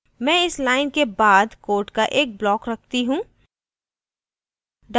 मैं इस line के बाद code का एक block रखती हूँ